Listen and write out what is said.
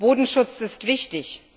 Bodenschutz ist wichtig.